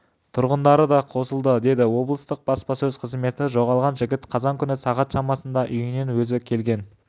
тұрғындары қосылды деді облыстық баспасөз қызметі жоғалған жігіт қазан күні сағат шамасында үйіне өзі келген